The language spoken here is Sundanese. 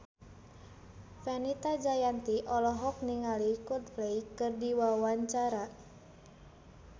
Fenita Jayanti olohok ningali Coldplay keur diwawancara